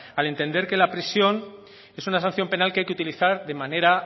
al entender que la prisión es una sanción penal que hay que utilizar de manera